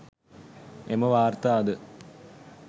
එම වාර්තාද